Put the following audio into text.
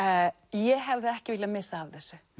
ég hefði ekki viljað missa af þessu